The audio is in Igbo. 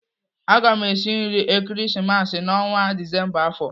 Aga m esi nri Ekeresimesi n'ọnwa Disemba afọ.